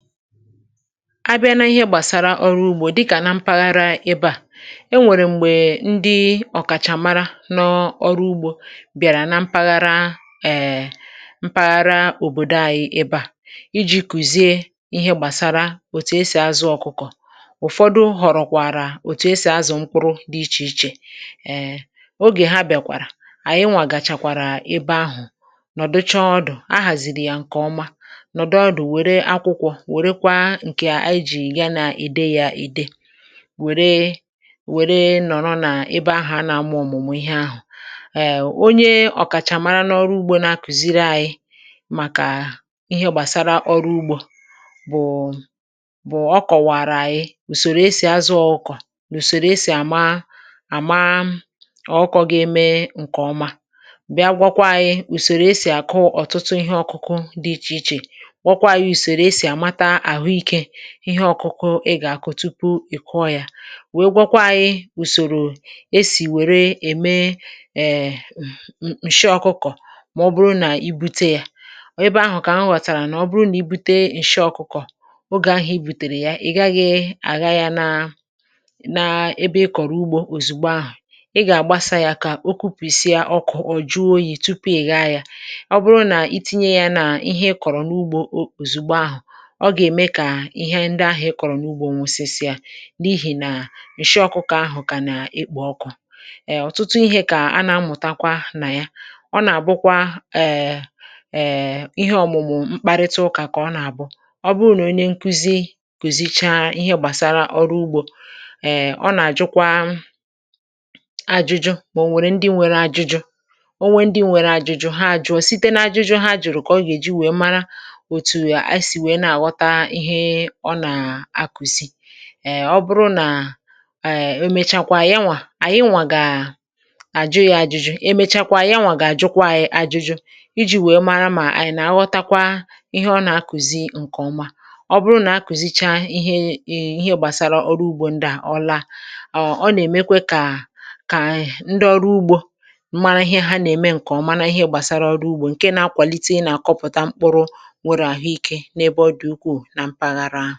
abịa nà ihe gbàsara ọrụ ugbȯ dịkà nà mpaghara ebe à e nwèrè m̀gbè ndị ọ̀kàchàmara n’ọrụ ugbȯ bịàrà nà mpaghara eeee mpaghara òbòdo ȧyị̇ ebe à iji̇ kùzie ihe gbàsara òtù esì azụ̇ ọkụkọ̀ um ụ̀fọdụ họ̀rọ̀kwàrà òtù esì azụ̀ mkpụrụ dị ichè ichè ogè ha bịàkwàrà ànyị nwà gàchàkwàrà ebe ahụ̀ nọ̀ dụcha ọdụ̀ ahàzịrị yȧ ǹkè ọma ǹkè ijì ga nà-ède yȧ ède wère wère nọ̀rọ n’ebe ahụ̀ a nà-amụ̇ ọ̀mụ̀mụ̀ ihe ahụ̀ èe onye ọ̀kàchà mara n’ọrụ ugbȯ na-akùziri àyị màkà ihe gbàsara ọrụ ugbȯ bụ̀ ọkọ̀wàrà àyị ùsòrò esì azụ ọkọ̀ ùsòrò esì àma àma ọkọ̇ ga-eme ǹkè ọma bịa gwọkwa yȧ ùsòrò esì àkụ ọ̀tụtụ ihe ọkụkụ dị ichè ichè wọkwa yȧ ùsòrò esì àmata ihe ọ̀kụkụ ị gà-akụ tupu ị̀ kụọ yȧ wèe gwakwa anyị ùsòrò e sì wère ème eee ǹshị ọkụkọ̀ mà ọ bụrụ nà i bute yȧ ọ̀ ebe ahụ̀ kà ahụ ghọ̀tàrà nà ọ bụrụ nà i bute ǹshị ọkụkọ̀ ogè ahụ̀ i bùtèrè ya ị̀ gaghị̇ àga ya nȧ na ebe ị kọ̀rọ̀ ugbȯ òzùgbo ahụ̀ ị gà-àgbasa yȧ kà o kupìsịa ọkụ̇ ọ̀ jụọ oyi̇ tupu ị gaa yȧ ọ bụrụ nà itinye yȧ nà ihe ị kọ̀rọ̀ n’ugbȯ òzùgbo ahụ̀ ǹdi ahụ̀ ị kọ̀rọ̀ n’ugbȯ onwosisịa n’ihì nà ǹshị ọkụkọ̀ ahụ̀ kà nà-ekpò ọkụ̀ ẹ ọ̀tụtụ ihė kà a nà-amụ̀takwa nà ya ọ nà-àbụkwa ẹ̀ẹ̀ um ịhẹ ọ̀mụ̀mụ̀ mkparịta ụkà kà ọ nà-àbụ ọ bụrụ nà onye nkuzi kòzichaa ihe gbàsara ọrụ ugbȯ ẹ ọ nà-àjụkwa ajụjụ mà o nwèrè ndị nwere ajụjụ onwe ndị nwere ajụjụ ha ajụọ̇ site n’ajụjụ ha jụrụ kà ọ gà-èji wèe mara ǹdewo nwee mee ihe ọ nà-akùzi ọ bụrụ nà e e mechakwaa ya nwà ànyị nwà gà àjụ ya ajụjụ e mechakwa ya nwà gà àjụkwa ya ajụjụ iji̇ wee mara mà ànyị nà-aghọtakwa ihe ọ nà-akùzi ǹkèọma ọ bụrụ nà akùzicha ihe ị ihe gbàsara ọrụ ugbȯ ndị à ọla ọ ọ nà-èmekwe kà kà ànyị ndị ọrụ ugbȯ mara ihe ha nà-ème ǹkèọma nà ihe gbàsara ọrụ ugbȯ ǹkè nà-akwàlite ị nà-àkọpụta mkpụrụ ihe ọ̀lọ̀rọ̀